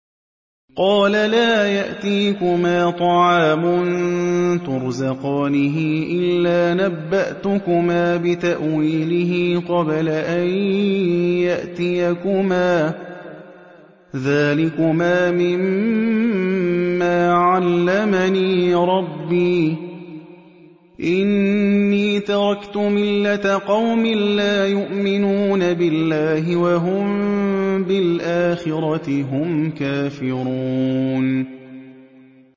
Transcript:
قَالَ لَا يَأْتِيكُمَا طَعَامٌ تُرْزَقَانِهِ إِلَّا نَبَّأْتُكُمَا بِتَأْوِيلِهِ قَبْلَ أَن يَأْتِيَكُمَا ۚ ذَٰلِكُمَا مِمَّا عَلَّمَنِي رَبِّي ۚ إِنِّي تَرَكْتُ مِلَّةَ قَوْمٍ لَّا يُؤْمِنُونَ بِاللَّهِ وَهُم بِالْآخِرَةِ هُمْ كَافِرُونَ